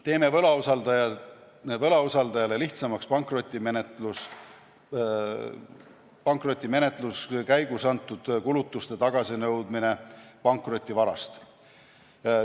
Teeme võlausaldajale lihtsamaks pankrotimenetluse käigus antud kulutuste tagasinõudmise pankrotivarast.